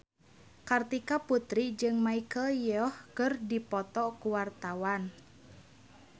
Kartika Putri jeung Michelle Yeoh keur dipoto ku wartawan